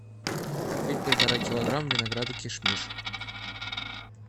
купить полтора килограмма винограда кишмиш